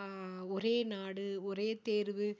ஆஹ் ஒரே நாடு ஒரே தேர்வு